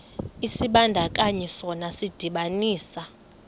isibandakanyi sona sidibanisa